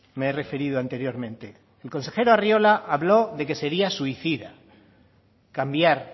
me he referido anteriormente el consejero arriola habló de que sería suicida cambiar